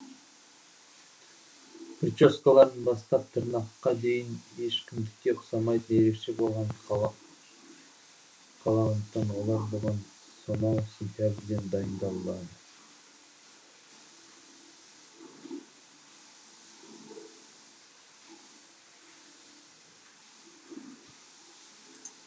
прическаларынан бастап тырнақтарына дейін ешкімдікіне ұқсамайтын ерекше болғанын қалағандықтан олар бұған сонааау сентябрьден дайындалады